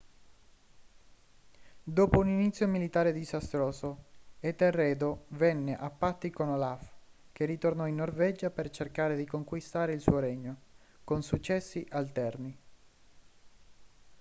dopo un inizio militare disastroso etelredo venne a patti con olaf che ritornò in norvegia per cercare di conquistare il suo regno con successi alterni